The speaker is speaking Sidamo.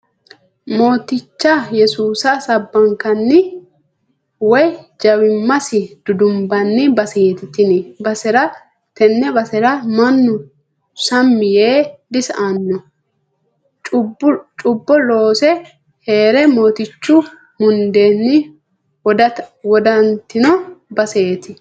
Mooticha yesuusa sabbakkanni woyi jawimasi dudumbanni baseti tene basera mannu sammi yee disa"ano cubbo loose heere mootichu mundenni wodatino baseti.